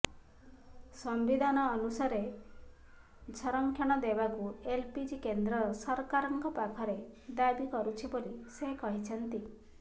ସମ୍ବିଧାନ ଅନୁସାରେ ସଂରକ୍ଷଣ ଦେବାକୁ ଏଲଜେପି କେନ୍ଦ୍ର ସରକାରଙ୍କ ପାଖରେ ଦାବି କରୁଛି ବୋଲି ସେ କହିଛନ୍ତି